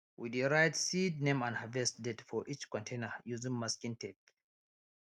we dey write seed name and harvest date for each container using masking tape